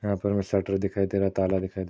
यहाँ पर शटर दिखाई दे रहा है ताला दिखाई दे रहा।